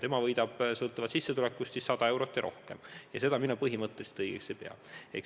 Tema võidab sõltuvalt sissetulekust 100 eurot või rohkem ja seda mina põhimõtteliselt õigeks ei pea.